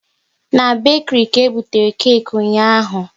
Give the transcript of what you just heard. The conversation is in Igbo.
Na bekiri ka ebutere keki ahụ ụnyaahụ